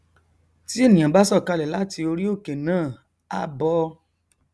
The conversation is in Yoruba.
tí ènìà bá sọkalẹ láti orí òkè náà á bọ